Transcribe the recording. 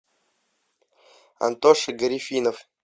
антоша гарифинов